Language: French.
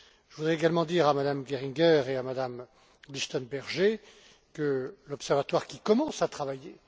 Je voudrais également dire à Mme Geringer et à Mme Lichtenberger que l'observatoire commence à travailler.